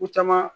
Ko caman